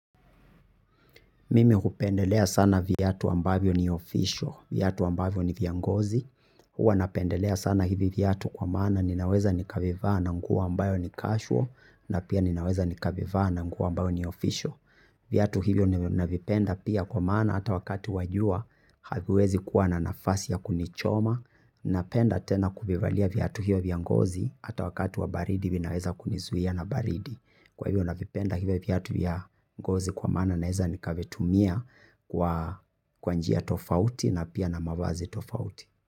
Mimi hupendelea sana viatu ambavyo ni ofisho, viatu ambavyo ni vya ngozi, huwa napendelea sana hivi viatu kwa maana ninaweza nikavivaa na nguo ambayo ni kashuo, na pia ninaweza nikavivaa na nguo ambavyo ni ofisho. Viatu hivyo navipenda pia kwa maana hata wakati wa jua haviwezi kuwa na nafasi ya kunichoma. Napenda tena kuvivalia viatu hivyo viangozi hata wakati wa baridi vinaweza kunizuia na baridi. Kwa hivyo navipenda hivyo viatu vya ngozi kwa maana naweza nikavitumia kwa njia tofauti na pia na mavazi tofauti.